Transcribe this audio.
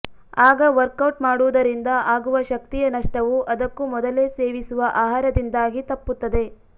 ಆಗ ವರ್ಕೌಟ್ ಮಾಡುವುದರಿಂದ ಆಗುವ ಶಕ್ತಿಯ ನಷ್ಟವು ಅದಕ್ಕೂ ಮೊದಲೇ ಸೇವಿಸುವ ಆಹಾರದಿಂದಾಗಿ ತಪ್ಪುತ್ತದೆ